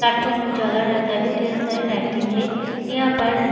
platform उजाला रहता है ढ़ेर सारा लाइटिंग है यहाँ पर --